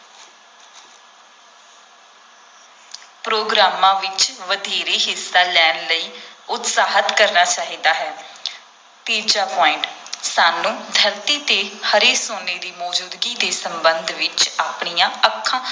ਪ੍ਰੋਗਰਾਮਾਂ ਵਿਚ ਵਧੇਰੇ ਹਿੱਸਾ ਲੈਣ ਲਈ ਉਤਸ਼ਾਹਤ ਕਰਨਾ ਚਾਹੀਦਾ ਹੈ ਤੀਜਾ point ਸਾਨੂੰ ਧਰਤੀ ‘ਤੇ ਹਰੇ ਸੋਨੇ ਦੀ ਮੌਜੂਦਗੀ ਦੇ ਸੰਬੰਧ ਵਿਚ ਆਪਣੀਆਂ ਅੱਖਾਂ